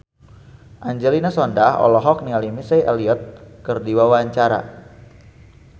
Angelina Sondakh olohok ningali Missy Elliott keur diwawancara